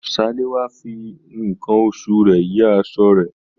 Salewa fí nkán oṣù rẹ yìí aṣọ rẹ.